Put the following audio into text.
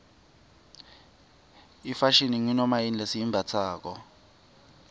ifashini ngunomayini lesiyimbatsalo